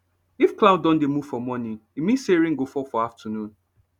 if cloud don dey move for morning e mean say rain go fall for afternoon